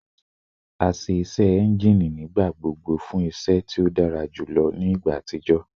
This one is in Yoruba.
A ṣe iṣẹ engine nigbagbogbo fun iṣẹ ti o dara julọ ni igba atijọ